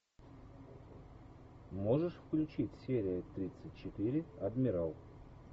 можешь включить серию тридцать четыре адмирал